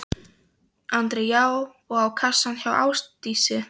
Andri: Já og á kassann hjá Ásdísi?